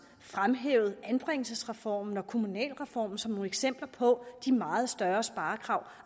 fremhævet anbringelsesreformen og kommunalreformen som nogle eksempler på de meget større sparekrav